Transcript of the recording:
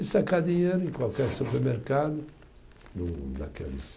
E sacar dinheiro em qualquer supermercado, no naqueles